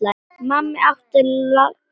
Mamma átti langa ævi.